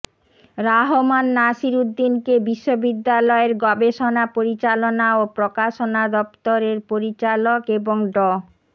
রাহমান নাসির উদ্দিনকে বিশ্ববিদ্যালয়ের গবেষণা পরিচালনা ও প্রকাশনা দফতরের পরিচালক এবং ড